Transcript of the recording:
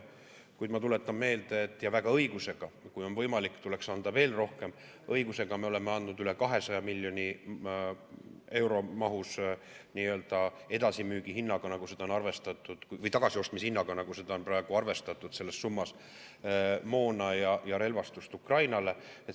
Kuid ma tuletan meelde – ja õige on, et kui võimalik, tuleks anda veel rohkem –, et me oleme andnud üle 200 miljoni euro mahus tagasiostmishinnaga, nagu seda on praegu arvestatud selles summas, moona ja relvastust Ukrainale.